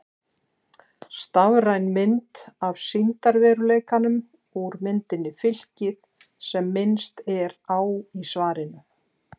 Stafræn mynd af sýndarveruleikanum úr myndinni Fylkið sem minnst er á í svarinu.